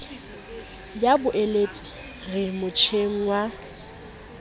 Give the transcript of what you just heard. ya boeletsi re motjheng wa